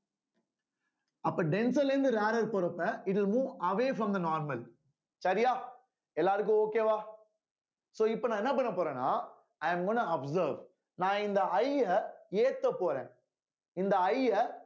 அப்போ denser ல இருந்து rarer போறப்ப இது move away from the normal சரியா எல்லாருக்கும் okay வா so இப்ப நான் என்ன பண்ண போறேன்னா i am gonna observe நான் இந்த I அ ஏத்தப் போறேன் இந்த I அ